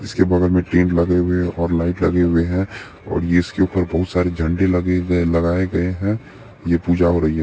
उसके बगल में लगे हुए है और लाइट लगे हुए है और इसके ऊपर बहुत सारे झंडे लगे-लगाए गए है ये पूजा हो रही है।